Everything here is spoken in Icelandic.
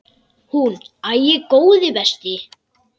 Hún: Æi, góði besti.!